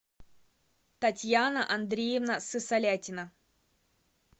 татьяна андреевна сысолятина